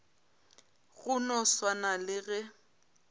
go no swana le ge